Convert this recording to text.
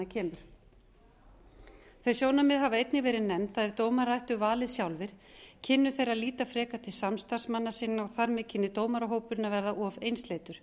kemur þau sjónarmið hafa einnig verið nefnd að ef dómarar ættu valið sjálfir kynnu þeir að líta frekar til samstarfsmanna sinna og þar með kynni dómarahópurinn að verða of einsleitur